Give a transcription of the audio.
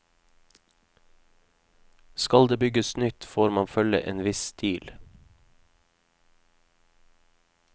Skal det bygges nytt, får man følge en viss stil.